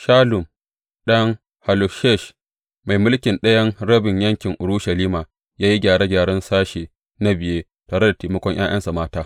Shallum ɗan Hallohesh, mai mulkin ɗayan rabin yankin Urushalima ya yi gyare gyaren sashe na biye tare da taimakon ’ya’yansa mata.